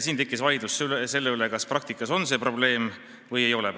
Tekkis vaidlus selle üle, kas praktikas on see probleem või ei ole.